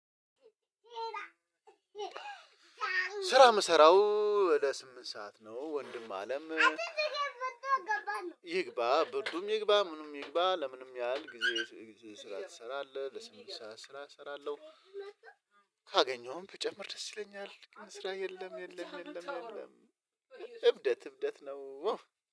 ስራ ምሰራው ለስምንት ሰዓት ነው። ወንድም አለም? ይግባ ብርዱም ይግባ ምኑም ይግባ ለምንም ያህል ጊዜ። ስራ ትሰራለህ ለስምንት ሰዓት ስራ እሰራለሁ። ካገኘሁም ብጨምር ደስ ይለኛል። ስራ የለም የለም የለም የለም። እብደት እብደት ነው።